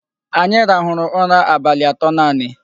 Anyị rahụrụ ụra abalị atọ nanị.